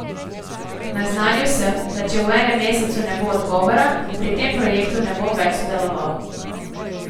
Naznanil sem, da če v enem mesecu ne bo odgovora, pri tem projektu ne bom več sodeloval.